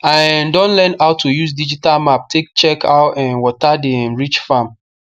i um don learn how to use digital map take check how um water dey um reach farm